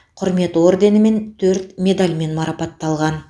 құрмет орденімен төрт медальмен марапатталған